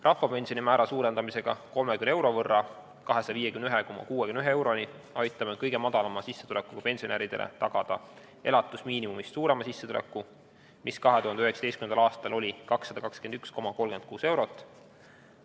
Rahvapensioni määra suurendamisega 30 euro võrra ehk 251,63 euroni aitame kõige madalama sissetulekuga pensionäridele tagada suurema sissetuleku kui elatusmiinimum, mis 2019. aastal oli 221,36 eurot.